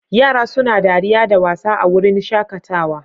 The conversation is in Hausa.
Yara suna dariya da wasa a wurin shakatawa